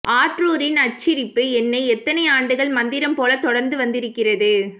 ஆற்றூரின் அச்சிரிப்பு என்னை எத்தனை ஆண்டுகள் மந்திரம் போல தொடர்ந்து வந்திருக்கிறது